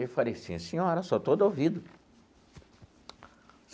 Eu falei assim, senhora, sou todo ouvido.